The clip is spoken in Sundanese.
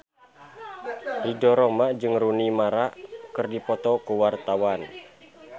Ridho Roma jeung Rooney Mara keur dipoto ku wartawan